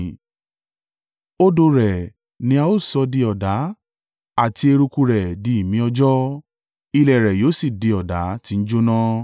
Odò rẹ̀ ni a ó sì sọ di ọ̀dà, àti eruku rẹ̀ di imí-ọjọ́, ilẹ̀ rẹ̀ yóò sì di ọ̀dà tí ń jóná.